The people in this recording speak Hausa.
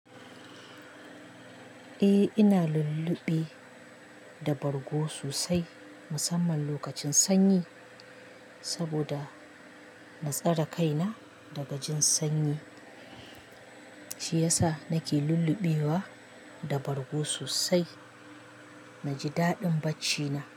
Eh ina lulluɓe da bargo sosai musamman lokacin sanyi, saboda na tsare kaina daga jin sanyi shi yasa nake lulluɓe wa da bargo sosai naji daɗin baccina.